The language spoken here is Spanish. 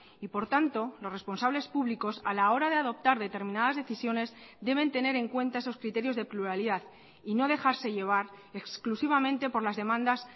y por tanto los responsables públicos a la hora de adoptar determinadas decisiones deben tener en cuenta esos criterios de pluralidad y no dejarse llevar exclusivamente por las demandas